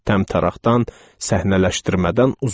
Təmtəraxdan, səhnələşdirmədən uzaqdır.